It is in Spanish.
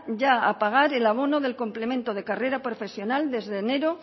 ya a pagar el abono del complemento de carrera profesional desde enero